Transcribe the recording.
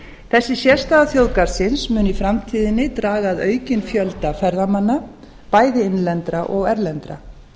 þessi sérstaða þjóðgarðsins mun í framtíðinni draga að aukinn fjölda ferðamanna bæði innlendra og erlendra